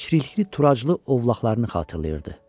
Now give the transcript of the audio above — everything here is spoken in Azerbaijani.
Təşrili turaclı ovlaqlarını xatırlayırdı.